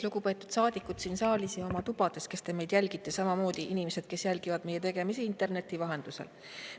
Lugupeetud saadikud siin saalis ja oma tubades, kes te meid jälgite, samamoodi inimesed, kes jälgivad meie tegemisi interneti vahendusel!